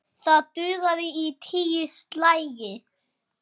Það dugði í tíu slagi.